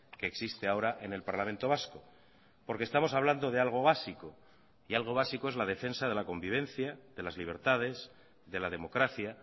que existe ahora en el parlamento vasco porque estamos hablando de algo básico y algo básico es la defensa de la convivencia de las libertades de la democracia